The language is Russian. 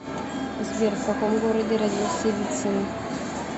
сбер в каком городе родился вицин